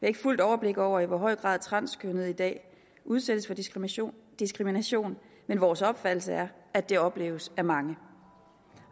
ikke fuldt overblik over i hvor høj grad transkønnede i dag udsættes for diskrimination diskrimination men vores opfattelse er at det opleves af mange